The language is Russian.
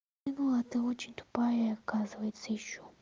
нино а ты очень тупая оказывается ещё